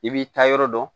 I b'i taa yɔrɔ dɔn